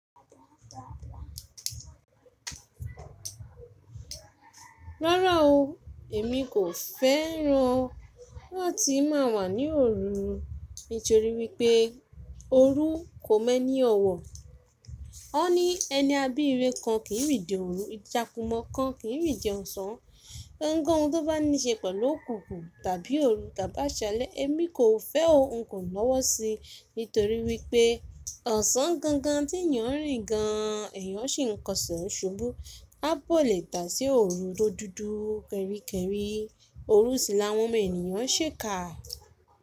Rárá o, èmi kò fẹ́ran láti má a wà ní òru. Nítorí wípé òru kò mọ́ ní ọwọ́. Ó ní ẹni abírẹ kan kì í rí de òru, ìjakùmọ̀ kan kì í rí de ọ̀sán. Ohun ko hun tó bá ní ṣe pẹ̀lú òkùnkùn tàbí òru tá bá ṣalẹ́, èmi kò fẹ́ ohun kàn lọ́wọ́ si. Nítorí wípé ọ̀sán gangan tí èèyàn ń rí gan an èèyàn sì ń kọṣẹ́ ò ṣubú, a bọ́ lè dà á sí òru tó dúdú kẹ́ríkẹ́rí. Òru sì la wọ́n omo eniyan n ṣéèká.